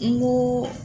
N ko